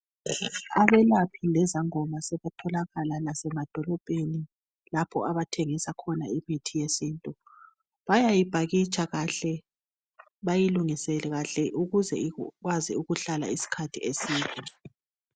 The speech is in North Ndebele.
Abelaphi lezangoma sebatholakala lasemadolobheni lapho abathengisa khona imithi yesintu, bayayiphakitsha kahle bayilungise kahle ukuze ikwazi isikhathi eside